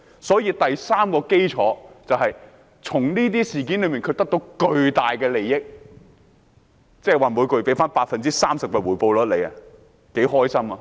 所以第三個核心原則就是從這些事件上得到巨大的利益，即每月獲得 30% 的回報率，多開心！